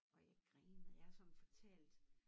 Og jeg grinede jeg har sådan fortalt